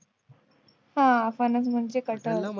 हा फणस म्हणजे कटहल